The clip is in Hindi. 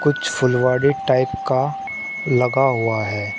फुलवारी टाइप का लगा हुआ है।